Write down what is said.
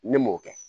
Ne m'o kɛ